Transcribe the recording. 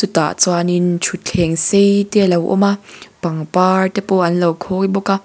tah chuanin thutthleng sei te a lo awm a pangpar te pawh an lo khawi bawk a.